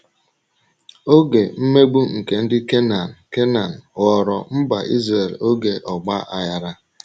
Oge mmegbu nke ndị Kenan Kenan ghọọrọ mba Izrel oge ọgba aghara.